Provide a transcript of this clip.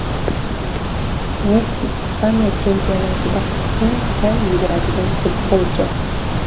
Messi – Ispaniya chempionatida eng kam yuguradigan futbolchi.